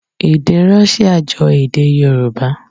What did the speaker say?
Èdè Rọ́ṣíà jọ èdè Yorùbá.